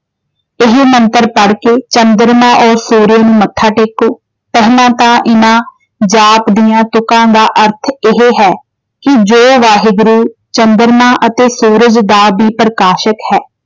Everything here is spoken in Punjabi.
ਇਹ ਮੰਤਰ ਪੜ ਕੇ ਚੰਦਰਮਾ ਅਤੇ ਸੂਰਜ ਨੂੰ ਮੱਥਾ ਟੇਕੋ। ਪਹਿਲਾਂ ਤਾਂ ਇਹਨਾਂ ਜਾਪ ਦੀਆਂ ਤੁਕਾਂ ਦਾ ਅਰਥ ਇਹੇ ਹੈ ਕਿ ਜੋ ਵਾਹਿਗੁਰੂ ਚੰਦਰਮਾ ਅਤੇ ਸੂਰਜ ਦਾ ਵੀ ਪ੍ਰਕਾਸ਼ਕ ਹੈ।